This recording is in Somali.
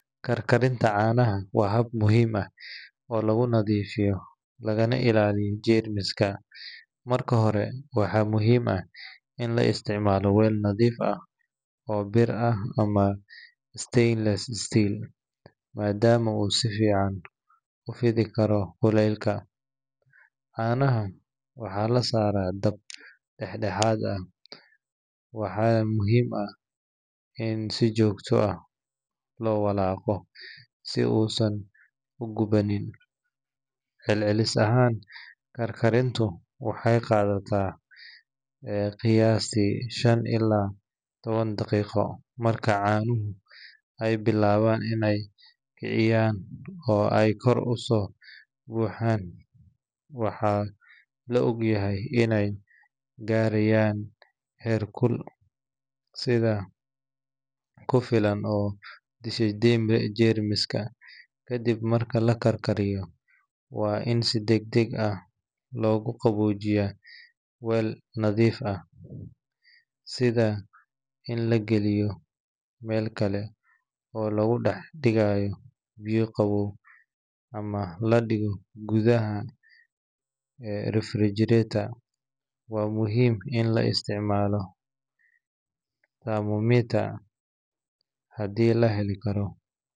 Kar karinta canaha waa hab muhiim ah oo lagu nadhiifiyo lagana ilaliyo germiska, marka hore waxaa muhiim ah in la isticmalo weel nadhiif ah oo bir ah ama starless steal madama u si fican ufidhi karo kulelka, canaha waxaa la sara dab kulel dex dexaad ah waxaa muhiim ah in si jogto ah lo walaqo si u san u guwanin, cel celis ahan kar karintu waxee qadataa qiyasi shan ila tawan daqiqo marka canuhu ee bilawan oo ee kor uso baxan waxaa la ogyahay in ee garayan heer kulul sitha kufilan oo germiska kadisha, kadiib marki lakariyo deg deg ah logu qawojiya weel nadhiif ah sitha in lagaliyo biyo qawow ama gudaha refrigerator waa muhiim In la isticmalo.